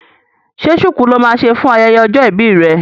Ṣé ṣuku lo máa ṣe fún ayẹyẹ ọjọ́ ìbí rẹ?